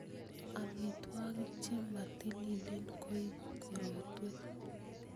Amitwogik chemo tililen koibu korotwek